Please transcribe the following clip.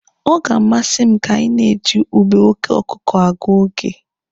Ọ ga-amasị m ka anyị na-eji ube oke ọkụkụ agụ oge.